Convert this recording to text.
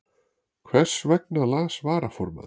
Hversvegna las varaformaður